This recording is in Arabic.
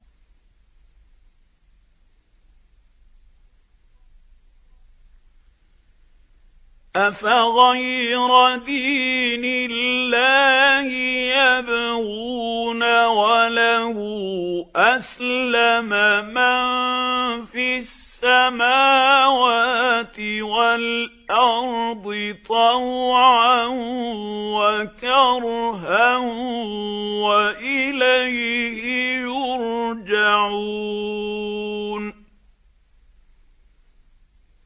أَفَغَيْرَ دِينِ اللَّهِ يَبْغُونَ وَلَهُ أَسْلَمَ مَن فِي السَّمَاوَاتِ وَالْأَرْضِ طَوْعًا وَكَرْهًا وَإِلَيْهِ يُرْجَعُونَ